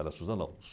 Era Suzano, não.